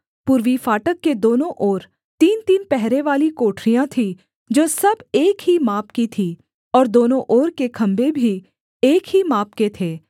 पूर्वी फाटक के दोनों ओर तीनतीन पहरेवाली कोठरियाँ थीं जो सब एक ही माप की थीं और दोनों ओर के खम्भे भी एक ही माप के थे